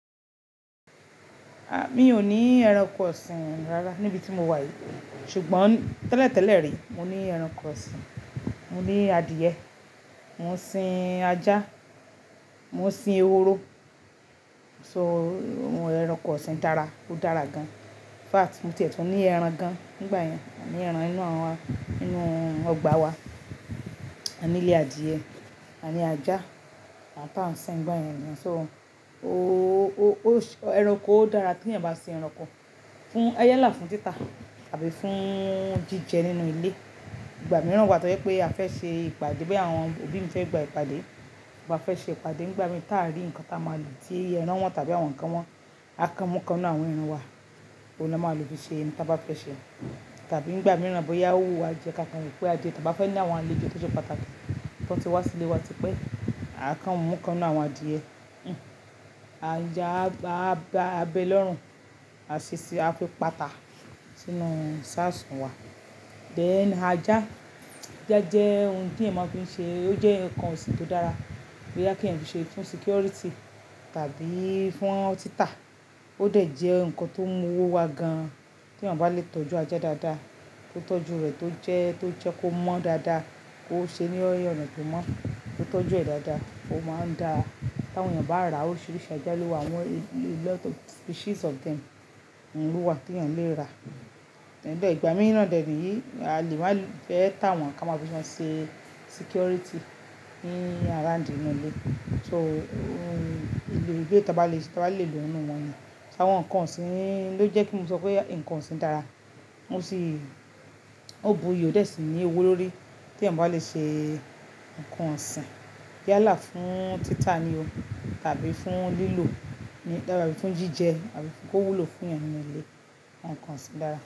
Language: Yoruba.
A! Mí ò ní ẹranko ọ̀sìn rárá níbi tí mo wà yìí. Ṣùgbọ́n tẹ́lẹ̀ tẹ́lẹ̀ rí mo ní ẹranko ọ̀sìn, mo ní adìẹ, mò ń sin ajá, mò ń sin ehoro. So, ẹranko ọ̀sìn dára, ó dára gan. In fact mo tiè tún ní ẹran gan nígbà yẹn, a ní ẹran inú àwọn, inú ọgbà wa, a nílé adìẹ, a ní ajá àtà ń sin nígbà yẹn ni. So o, o, o, ẹranko ó dára tí ènìyàn bá sin ẹranko fún, a yálà fún títà tàbí fún jíjẹ nínú ilé. Ìgbà mìíràn wà tójẹ pé a fẹ́ ṣe ìpàdé, bí àwọn òbí mi fẹ́ gba ìpàdé, wọ́n fẹ́ ṣe ìpàdé nígbà mìíràn táa rí nǹkan táa máa lò tí ẹran wọn tàbí àwọn ǹkan wọn, a kan mú kan nínú àwọn ẹran wa, òun ló máa lò fi ṣe ohun táa bá fẹ́ ṣe. Tàbí nígbà mìíràn bóyá o wù wa jẹ ká kan wọ̀ pé a jẹ tàbí a fẹ́ ní àwọn àlejò tó ṣẹ́ pàtàkì tó ti wá sílé wa tí pé a kan mú kan nínú àwọn adìẹ, a já, a gbá, a bẹ lọ́rùn, a ṣe ṣíṣe a fi pàtà sínú iṣáṣùn wa. Dẹ̀n ajá, ajá jẹ́ ohun tí ènìyàn máa fi n ṣe, ó jẹ́ ǹkan ọ̀sìn tó dára. Bóyá kí ènìyàn fi ṣe fún security tàbí fún títà. Ó dẹ̀ jẹ́ ǹkan tó mú owó wa gan tí ènìyàn bá lè tọ́jú ajá dáadáa, tó tọ́jú rẹ̀ tó jẹ́, tó jẹ́ kó mọ́ dáadáa, kó ṣe ní ọ̀ràn pẹ̀mọ́, tó tọ́jú ẹ̀ dáadáa, ó máa ń dáa. Ti àwọn ènìyàn bá rà órísìríṣi ajá ló'wà àwọn a lot of species of them ló wa tí ènìyàn lè rà. Ìgbà mìíràn dè leyìí a lè máa fẹ́ tà wọ́n ká máa fi wọn ṣe security ní around inú ilé. So, ohun, ilé tó bá lè, tó bá lè lò nínú wọn ni. Ṣé àwọn ǹkan ọ̀sìn ló jẹ́ kí mo sọ pé ǹkan ọ̀sìn dára? Mo sì, ó bu iyi o dé sì ní owó lórí tí ènìyàn bá lè ṣe ǹkan ọ̀sìn. Yalá fún títà ni o tàbí fún lílò ní, lára fún jíjẹ àbí kó wúlò fún ènìyàn nínú ilé, àwọn ǹkan ọ̀sìn dára.